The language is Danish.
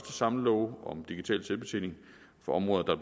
samlelove om digital selvbetjening for områder der